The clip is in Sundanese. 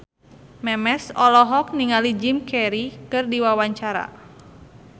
Memes olohok ningali Jim Carey keur diwawancara